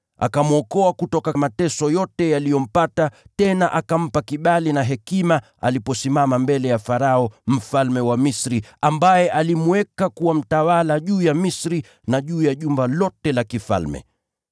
Akamwokoa kutoka mateso yote yaliyompata, tena akampa kibali na hekima aliposimama mbele ya Farao, mfalme wa Misri, ambaye alimweka kuwa mtawala juu ya Misri na juu ya jumba lote la kifalme.